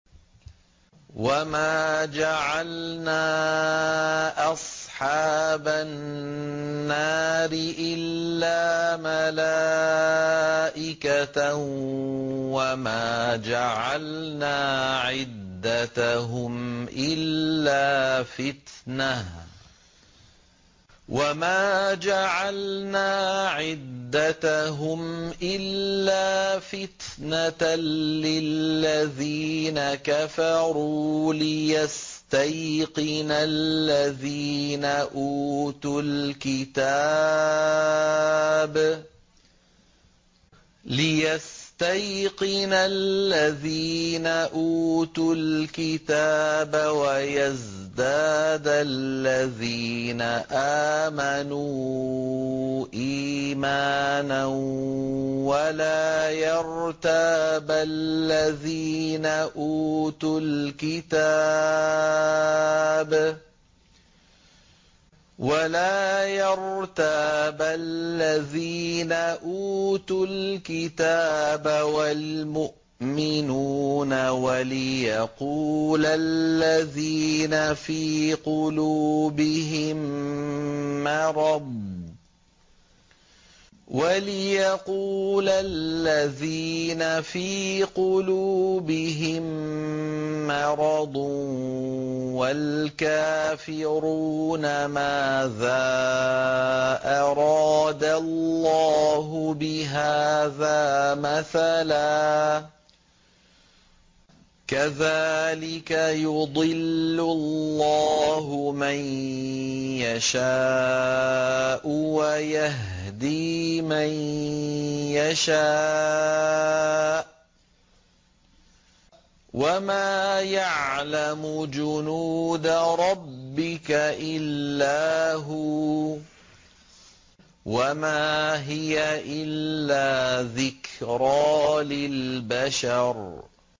وَمَا جَعَلْنَا أَصْحَابَ النَّارِ إِلَّا مَلَائِكَةً ۙ وَمَا جَعَلْنَا عِدَّتَهُمْ إِلَّا فِتْنَةً لِّلَّذِينَ كَفَرُوا لِيَسْتَيْقِنَ الَّذِينَ أُوتُوا الْكِتَابَ وَيَزْدَادَ الَّذِينَ آمَنُوا إِيمَانًا ۙ وَلَا يَرْتَابَ الَّذِينَ أُوتُوا الْكِتَابَ وَالْمُؤْمِنُونَ ۙ وَلِيَقُولَ الَّذِينَ فِي قُلُوبِهِم مَّرَضٌ وَالْكَافِرُونَ مَاذَا أَرَادَ اللَّهُ بِهَٰذَا مَثَلًا ۚ كَذَٰلِكَ يُضِلُّ اللَّهُ مَن يَشَاءُ وَيَهْدِي مَن يَشَاءُ ۚ وَمَا يَعْلَمُ جُنُودَ رَبِّكَ إِلَّا هُوَ ۚ وَمَا هِيَ إِلَّا ذِكْرَىٰ لِلْبَشَرِ